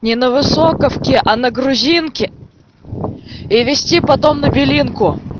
не на высоковске а на грузинке и везти потом набери белинку